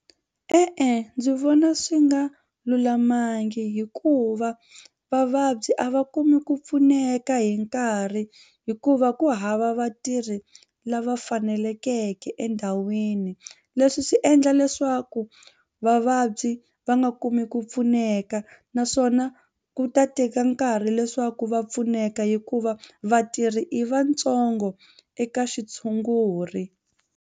E-e ndzi vona swi nga lulamangi hikuva vavabyi a va kumi ku pfuneka hi nkarhi hikuva ku hava vatirhi lava fanelekeke endhawini leswi swi endla leswaku vavabyi va nga kumi ku pfuneka naswona ku ta teka nkarhi leswaku va pfuneka hikuva vatirhi i vatsongo eka xitshunguri.